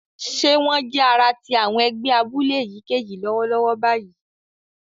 Ṣe wón jẹ ará ti àwọn ègbé abúlé èyíkéyìí lọwọlọwọ báyìí?